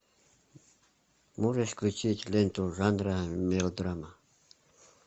можешь включить ленту жанра мелодрама